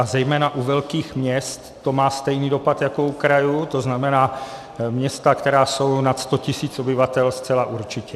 A zejména u velkých měst to má stejný dopad jako u krajů, to znamená, města, která jsou nad 100 000 obyvatel, zcela určitě.